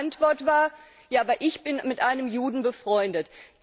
Seine Antwort war Ja, aber ich bin mit einem Juden befreundet.